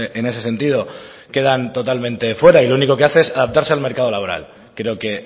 en ese sentido quedan totalmente fuera y lo único que hace es adaptarse al mercado laboral creo que